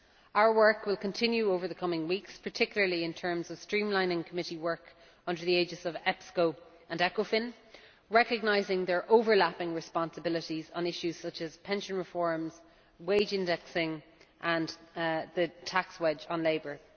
Our work will continue over the coming weeks, particularly in terms of streamlining committee work under the aegis of EPSCO and ECOFIN, recognising their overlapping responsibilities on issues such as pension reforms, wage indexing, and the tax wedge on labour.